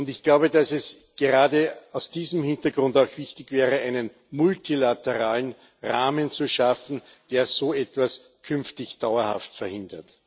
Ich glaube, dass es gerade vor diesem Hintergrund auch wichtig wäre, einen multilateralen Rahmen zu schaffen, der so etwas künftig dauerhaft verhindert.